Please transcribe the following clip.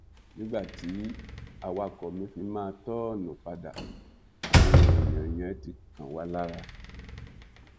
nígbà tí awakọ̀ mi fi máa tọ́ọ̀nù padà àwọn èèyàn yẹn ti kàn wá lára